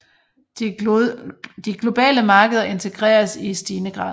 De globale markeder integreres i stigende grad